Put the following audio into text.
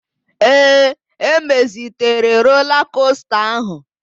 Ee, emezitere rola kosta áhụ̀.